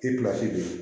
don